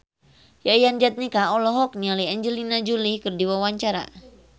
Yayan Jatnika olohok ningali Angelina Jolie keur diwawancara